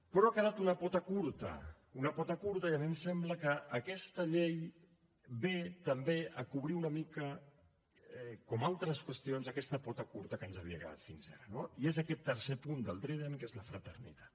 però ha quedat una pota curta una pota curta i a mi em sembla que aquesta llei ve també a cobrir una mica com altres qüestions aquesta pota curta que ens havia quedat fins ara i és aquest tercer punt del trident que és la fraternitat